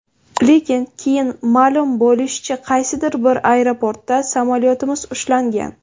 Lekin, keyin ma’lum bo‘lishicha, qaysidir bir aeroportda samolyotimiz ushlangan.